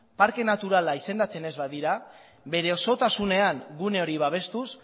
parke naturala izendatzen ez badira bere osotasunean gune hori babestuz